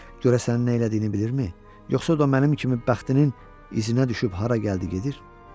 Görəsən nə elədiyini bilirmi, yoxsa o da mənim kimi bəxtinin iziniə düşüb hara gəldi gəlir?